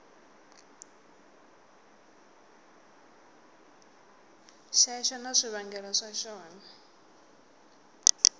xexo na swivangelo swa xona